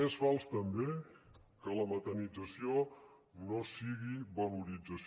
és fals també que la metanització no sigui valorització